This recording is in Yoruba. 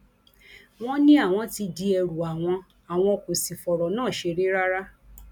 wọn ní àwọn ti di ẹrù àwọn àwọn kò sì fọrọ náà ṣeré rárá